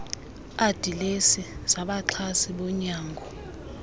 adilesi zabaxhasi bonyango